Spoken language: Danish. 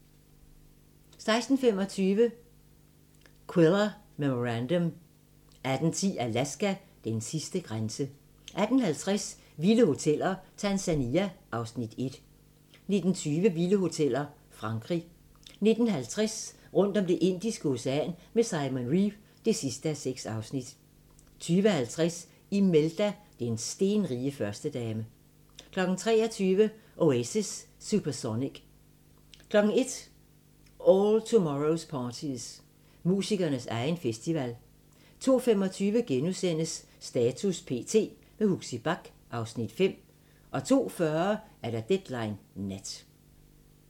16:25: Quiller Memorandum 18:10: Alaska: Den sidste grænse 18:50: Vilde hoteller – Tanzania (Afs. 1) 19:20: Vilde hoteller – Frankrig 19:50: Rundt om Det Indiske Ocean med Simon Reeve (6:6) 20:50: Imelda – den stenrige førstedame 23:00: Oasis: Supersonic 01:00: All Tomorrows parties – musikernes egen festival 02:25: Status p.t. – med Huxi Bach (Afs. 5)* 02:40: Deadline Nat